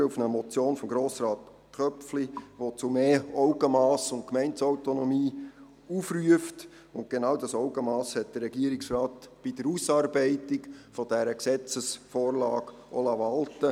Diese geht auf die Motion von Grossrat Köpfli, «Mehr Augenmass und Gemeindeautonomie statt eines generellen Verbots von Veranstaltungen an Festtagen» zurück, und genau dieses Augenmass hat der Regierungsrat bei der Ausarbeitung dieser Gesetzesvorlage walten lassen.